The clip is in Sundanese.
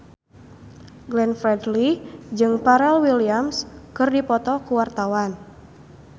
Glenn Fredly jeung Pharrell Williams keur dipoto ku wartawan